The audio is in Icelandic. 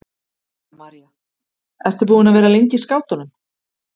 Helga María: Ertu búin að vera lengi í skátunum?